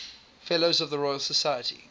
fellows of the royal society